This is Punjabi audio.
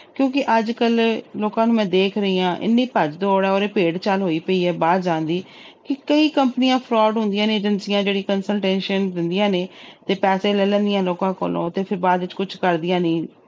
ਕਿਉਂਕਿ ਅੱਜ ਕੱਲ੍ਹ ਲੋਕਾਂ ਨੂੰ ਮੈਂ ਦੇਖ ਰਹੀ ਹਾਂ ਇੰਨੀ ਭੱਜ ਦੌੜ ਆ ਉਰੇ ਭੇਡ ਚਾਲ ਹੋਈ ਪਈ ਬਾਹਰ ਜਾਣ ਦੀ ਕਿ ਕਈ ਕੰਪਨੀਆਂ fraud ਹੁੰਦੀਆਂ ਨੇ ਏਜੰਸੀਆਂ ਜਿਹੜੀ consultation ਦਿੰਦੀਆਂ ਨੇ ਤੇ ਪੈਸੇ ਲੈ ਲੈਂਦੀਆਂ ਲੋਕਾਂ ਕੋਲੋਂ ਤੇ ਫਿਰ ਬਾਅਦ ਵਿੱਚ ਕੁਛ ਕਰਦੀਆਂ ਨੀ